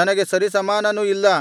ನನಗೆ ಸರಿಸಮಾನನು ಇಲ್ಲ